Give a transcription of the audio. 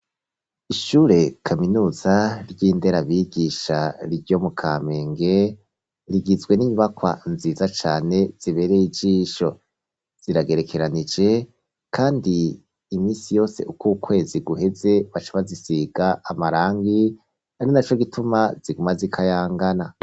Ishure kaminuza ryindera bigisha ryo mu Kamenge rigizwe n'inyubakwa nziza cane zibereye ijisho ziragerekeranije kandi imisi yose uko ukwezi guheze baca bazisiga amarangi ari naco gituma ziguma zikayangana.